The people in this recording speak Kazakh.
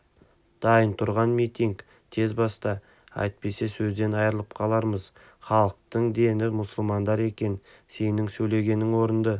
дайын тұрған митинг тез баста әйтпесе сөзден айрылып қаламыз халықтың дені мұсылмандар екен сенің сөйлегенің орынды